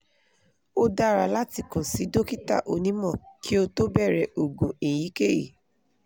o dara latikan si dokita onimo ki o to bere ogun eyikeyi